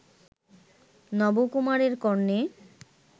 নবকুমারের কর্ণে